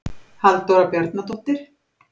Halldóra Bjarnadóttir.